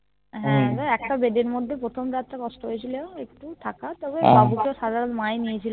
হ্যাঁ তবে একটা bed এর মধ্যে প্রথম রাত তা কস্ট হয়েছিল একটু থাকা তবে বাবু কে তো মা নিয়েছিল